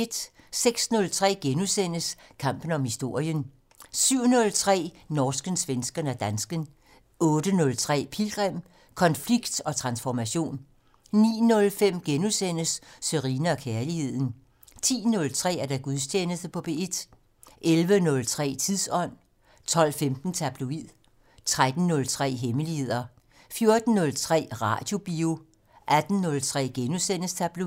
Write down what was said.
06:03: Kampen om historien * 07:03: Norsken, svensken og dansken 08:03: Pilgrim - Konflikt og transformation 09:05: Sørine & Kærligheden * 10:03: Gudstjeneste på P1 11:03: Tidsånd 12:15: Tabloid 13:03: Hemmeligheder 14:03: Radiobio 18:03: Tabloid *